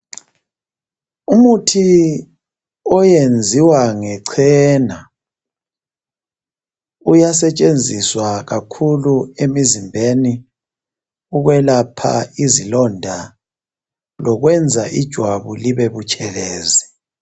umuthi oyenziwa ngechena uyasetshenziswa kakhulu emizimbeni ukwelapha izilonda lokwenza ijwabu libe butshelezi